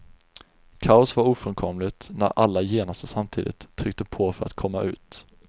Kaos var ofrånkomligt när alla genast och samtidigt tryckte på för att komma ut.